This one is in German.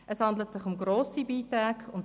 Es handelt sich um grosse Beiträge.